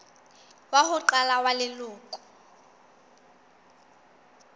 wa ho qala wa leloko